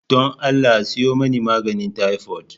Don Allah a siyo mani maganin taifot.